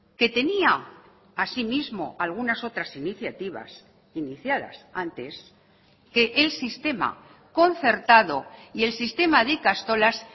que tenía asimismo algunas otras iniciativas iniciadas antes que el sistema concertado y el sistema de ikastolas